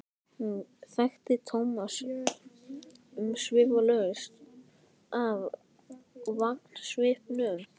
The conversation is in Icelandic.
Hún þekkti Thomas umsvifalaust af vangasvipnum.